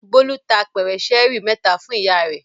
Bólú ta apẹ̀rẹ̀ ṣẹ́ẹ́rì mẹ́ta fún ìyá rẹ̀.